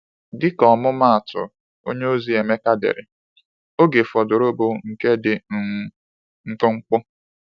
Dịka ọmụmaatụ, onyeozi Emeka dere: “Oge fọdụrụ bụ nke dị um mkpụmkpụ.”